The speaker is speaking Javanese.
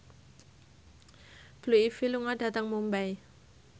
Blue Ivy lunga dhateng Mumbai